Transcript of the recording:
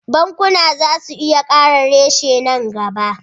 Bankuna za su iya kara reshe nan gaba